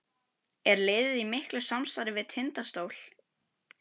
Er liðið í miklu samstarfi við Tindastól?